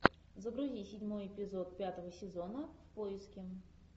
загрузи седьмой эпизод пятого сезона в поиске